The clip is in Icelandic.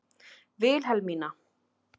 Vilhelmína